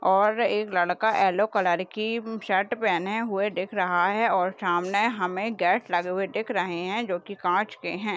और एक लड़का येल्लो कलर की अ शर्ट पहने हुए है दिख रहा है और सामने हमे गॅस लगे हुए दिख रहे है जो की काच के है।